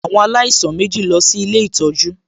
Àwọn alaisan mèjí lọ sí Ilé ìtọ́jú